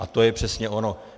A to je přesně ono!